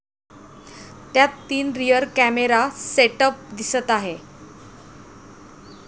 त्यात तीन rear camera setup दिसत आहे.